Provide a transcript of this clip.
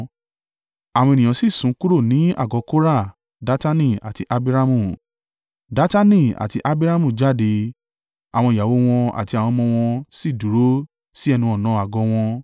Àwọn ènìyàn sì sún kúrò ní àgọ́ Kora, Datani àti Abiramu. Datani àti Abiramu jáde, àwọn ìyàwó wọn àti àwọn ọmọ wọn sì dúró sí ẹnu-ọ̀nà àgọ́ wọn.